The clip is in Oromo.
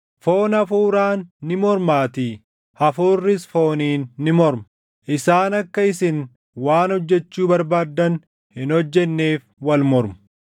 Foon Hafuuraan ni mormaatii; Hafuurris fooniin ni morma. Isaan akka isin waan hojjechuu barbaaddan hin hojjenneef wal mormu.